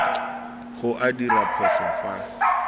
go a dirwa phoso fa